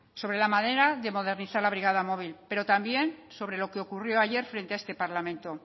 sobre la manera de modernizar la brigada móvil pero también sobre lo que ocurrió ayer frente a este parlamento